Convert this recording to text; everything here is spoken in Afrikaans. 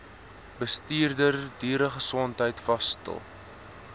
bestuurder dieregesondheid vasstel